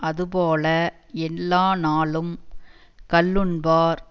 அது போல எல்லா நாளும் கள்ளுண்பார்